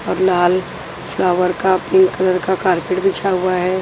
लाल flower का pink colour का carpet बिछा हुआ है।